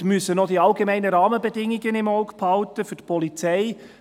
Wir müssen auch die allgemeinen Rahmenbedingungen für die Polizei im Auge behalten.